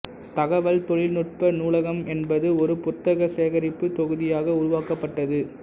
தகவல் தொழில்நுட்ப நூலகம் என்பது ஒரு புத்தக சேகரிப்பு தொகுதியாக உருவாக்கப்பட்டது